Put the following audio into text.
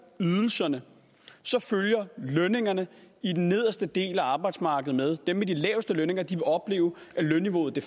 ydelserne så følger lønningerne i den nederste del af arbejdsmarkedet med dem med de laveste lønninger vil opleve at lønniveauet